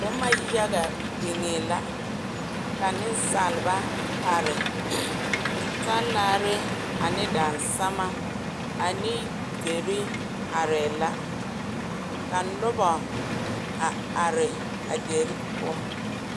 Boma yaga biŋee la ka nensaaleba are talaare ane daresama ane deri arɛɛ la, ka noba a are a deri poɔ.